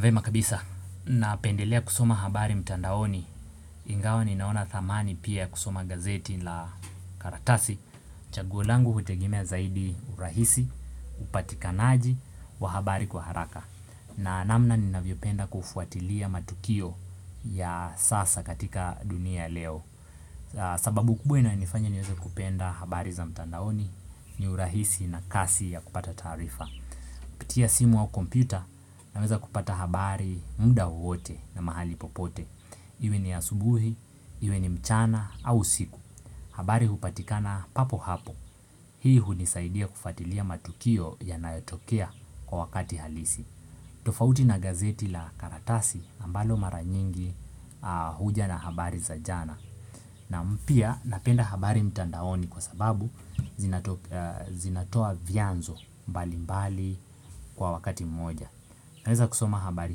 Vyema kabisa, napendelea kusoma habari mtandaoni. Ingawa ni naona thamani pia ya kusoma gazeti la karatasi chaguo langu hutegemea zaidi urahisi, upatikanaji, wa habari kwa haraka. Na namna ninavyopenda kufuatilia matukio ya sasa katika dunia leo sababu kubwa inayofanya niweze kupenda habari za mtandaoni ni urahisi na kasi ya kupata taarifa kupitia simu au kompyuta naweza kupata habari muda wowote na mahali popote. Iwe ni asubuhi, iwe ni mchana au usiku. Habari hupatikana papo hapo. Hii hunisaidia kufatilia matukio yanayotokea kwa wakati halisi. Tofauti na gazeti la karatasi ambalo mara nyingi huja na habari za jana. Na pia napenda habari mtandaoni kwa sababu zinatoa vyanzo mbali mbali kwa wakati mmoja naweza kusoma habari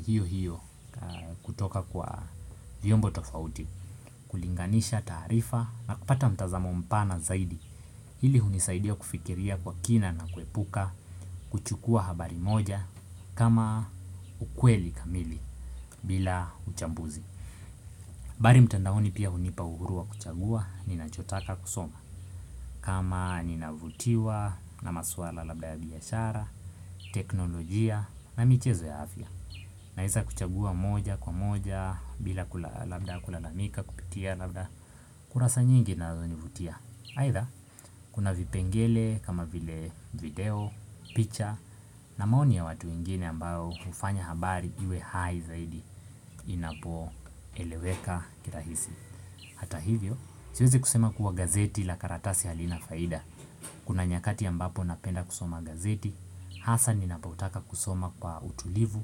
hiyo hiyo kutoka kwa viombo tofauti. Kulinganisha taarifa na kupata mtazamo mpana zaidi. Hili hunisaidia kufikiria kwa kina na kuepuka kuchukua habari moja kama ukweli kamili bila uchambuzi barl mtandaoni pia hunipa uhuru wa kuchagua ninachotaka kusoma kama ninavutiwa na maswala labda ya biashara teknoljia na michezo ya afya. Naeza kuchagua moja kwa moja, bila labda kulalamika, kupitia labda kurasa nyingi na zinazonivutia aidha, kuna vipengele kama vile video, picha na maoni ya watu wengine ambao hufanya habari iwe hai zaidi inapo eleweka kirahisi. Hata hivyo, siwezi kusema kuwa gazeti la karatasi halina faida. Kuna nyakati mbapo napenda kusoma gazeti, hasa ninapotaka kusoma kwa utulivu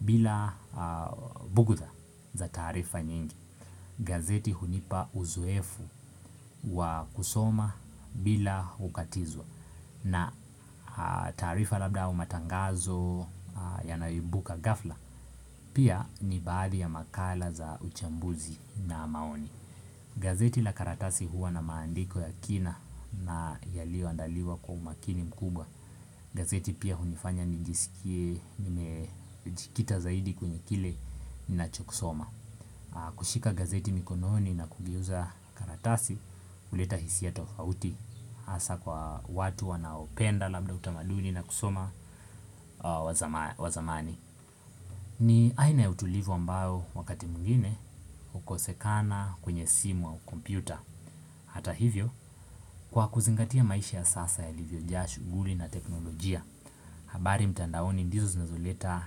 bila bugtha za taarifa nyingi. Gazeti hunipa uzoefu wa kusoma bila kukatizwa na taarifa labda au matangazo yanayoibuka ghafla pia ni baadhi ya makala za uchambuzi na maoni. Gazeti la karatasi huwa na maandiko ya kina na yaliyoandaliwa kwa umakini mkubwa. Gazeti pia hunifanya nijisikie nimejikita zaidi kwenye kile ni nacho kisoma. Kushika gazeti mikononi na kugeuza karatasi huleta hisia tofauti hasa kwa watu wanaopenda labda utamaduni na kusoma wazamani. Ni aina ya utulivu ambao wakati mwingine hukosekana kwenye simu au kompyuta. Hata hivyo, kwa kuzingatia maisha ya sasa yalivyo shughuli na teknolojia, habari mtandaoni ndizo zinazoleta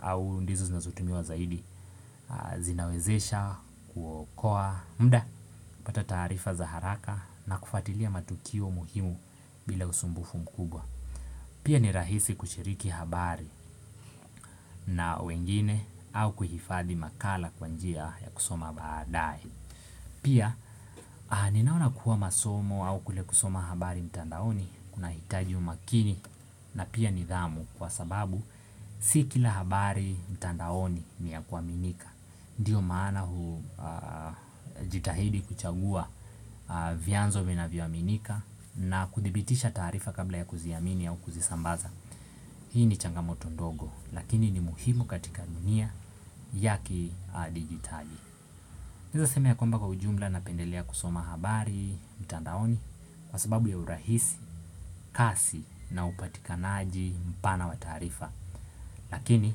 au ndizo zinazotumiwa zaidi, zinawezesha, kuokoa, muda, kupata taarifa za haraka na kufuatilia matukio muhimu bila usumbufu mkubwa. Pia ni rahisi kushiriki habari na wengine au kuhifadhi makala kwa njia ya kusoma baadae. Pia ninaona kuwa masomo au kule kusoma habari mtandaoni kuna hitaji umakini na pia nidhamu kwa sababu si kila habari mtandaoni ni ya kuaminika. Ndiyo maana hujitahidi kuchagua vyanzo vinavyoaminika na kuthibitisha taarifa kabla ya kuziamini au kuzisambaza. Hii ni changamoto ndogo lakini ni muhimu katika dunia ya kidijitali. Naeza sema yakwamba kwa ujumla napendelea kusoma habari, mtandaoni kwa sababu ya urahisi, kasi na upatikanaji mpana wa taarifa. Lakini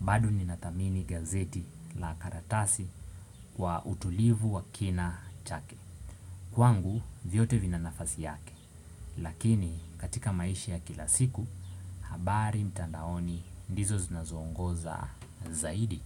bado ninadhamini gazeti la karatasi kwa utulivu wa kina chake. Kwangu, vyote vinanafasi yake. Lakini, katika maisha ya kila siku, habari mtandaoni ndizo zinazoongoza zaidi.